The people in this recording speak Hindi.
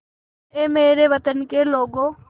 ऐ मेरे वतन के लोगों